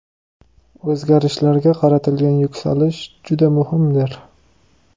O‘zgarishlarga qaratilgan yuksalish juda muhimdir.